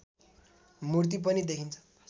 मूर्ति पनि देखिन्छ